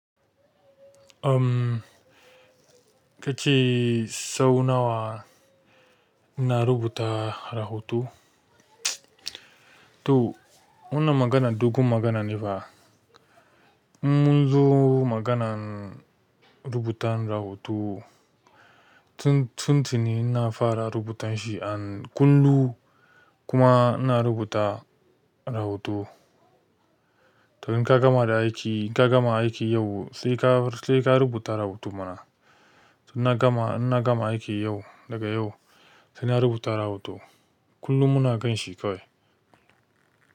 Um, kace sau nawa ina rubuta rahoto? To wannan magana dogon magana ne, in munzo maganar rubuta rahoto tun tuni ina fara rubuta shi a kundi kuma ina rubuta rahoto to in ka gama da aiki, in ka gama aiki yau sai ka, sai ka rubuta rahoto mana. To in gama aiki yau, daga yau sai na rubuta rahoto. Kullum muna kanshi kawai.